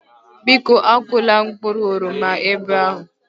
Biko akụla mkpụrụ oroma ebe ahụ